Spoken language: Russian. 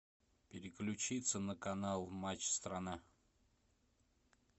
переключиться на канал матч страна